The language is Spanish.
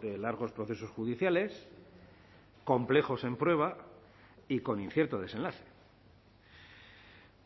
de largos procesos judiciales complejos en prueba y con incierto desenlace